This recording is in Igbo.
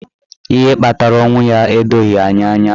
Ihe kpatara ọnwụ ya edoghi anyị anya.